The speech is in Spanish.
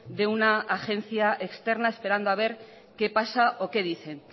de una agencia externa esperando a ver qué pasa o qué dicen